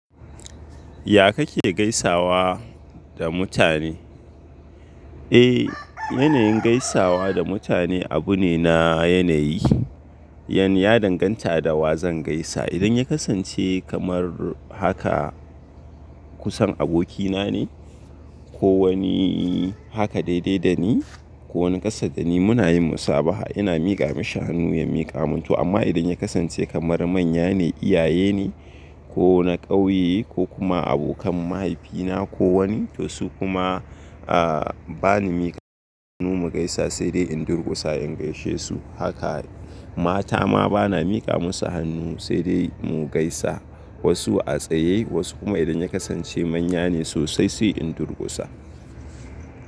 Ya kake gaisawa da mutane? Eh, yanayin gaisawa da mutane abu ne na yanayi. Ya ya danganta da wa zan gaisa. Idan ya kasance kamar haka kusan abokina ne ko wani haka daidai da ni ko wani ƙasa da ni muna yin musabaha, ina mika mashi hannu, ya mika min to amma idan ya kasance kamar manya ne, iyaye ne ko na ƙauye ko kuma abokan mahaifina ko wani to su kuma, a, ba ni mika musu hannu mu gaisa sai dai in durkusa in gaishe su. Haka mata ma ba na mika musu hannu sai dai mu gaisa. Wasu a tsaye wasu kuma idan ya kasance manya ne sosai sai in durkusa.